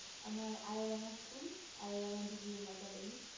আমার Ayradanga School Ayradanga DBA academy